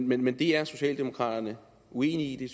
men men er socialdemokraterne uenige i